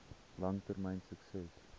lang termyn sukses